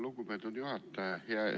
Lugupeetud juhataja!